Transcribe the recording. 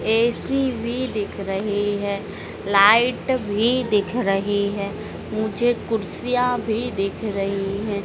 AC भी दिख रही है लाइट भी दिख रही है ऊंचे कुर्सियां भी दिख रही हैं।